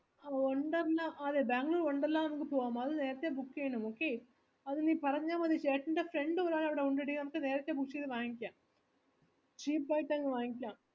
wonderla അതെ Bangalore wonderla നമുക്ക് പോവാം അത് നേരത്തെ book ചെയ്യണം okay അതെ നീ പറഞ്ഞാ മതി ചേട്ടൻറെ friend കൾ അവിടെ already ഉണ്ടെടി നമുക്ക് നേരത്തെ book ചെയ്ത് വാങ്ങിക്കാം